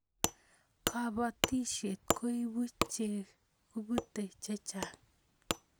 kabatishiet koibu chekibute chechang